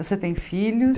Você tem filhos?